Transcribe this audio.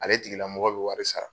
Ale tigilamɔgɔ be wɔri sara